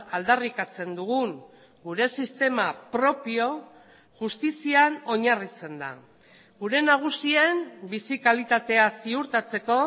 aldarrikatzen dugun gure sistema propio justizian oinarritzen da gure nagusien bizi kalitatea ziurtatzeko